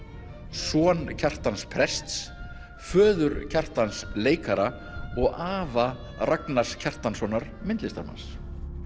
son Kjartans prests föður Kjartans leikara og afa Ragnars Kjartanssonar myndlistarmanns